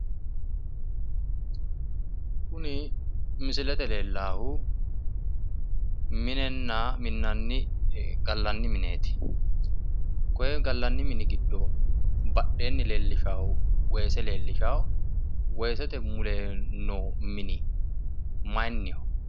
kuni misilete leellaahu minenna gallanni mineeti. gallanni mini giddo badheenni leellishaahu woyi ise leellishaahu weesete muro lellishawo, mule noo mini maayiinniho?